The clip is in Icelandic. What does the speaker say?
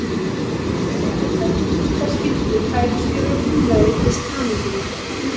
Því er ekki óeðlilegt að slíkar skyldur færist yfir á félagið við skráninguna.